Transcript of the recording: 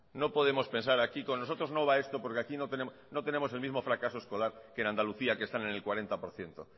no podemos pensar aquí con nosotros no va esto porque aquí no tenemos el mismo fracaso escolar que en andalucía que están en el cuarenta por ciento